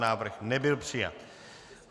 Návrh nebyl přijat.